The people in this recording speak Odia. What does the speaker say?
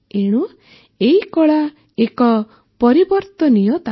ଏଣୁ ଏହି କଳା ଏକ ପରିବର୍ତ୍ତନୀୟତା